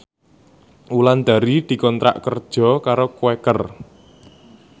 Wulandari dikontrak kerja karo Quaker